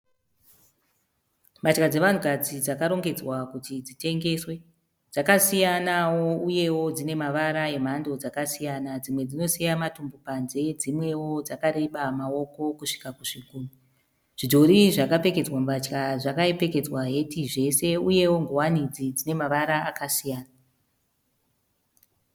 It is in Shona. Mbatya dzevanhukadzi dzakarongedzwa kuti dzitengeswe, dzakasiyanawo uye dzine mavara emhando dzakasiyanawo dzimwe dzinosiya matumbu ari panze, dzimwewo dzakareba maoko kusvika kuzvigumwe. Zvidhori zvakapfekedzwa mbatya zvakapfekedzwa heti zvese uyewo ngowani idzi dzine mavara akasiyana.